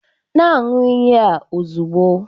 Na-aṅụ iyi a ozugbo!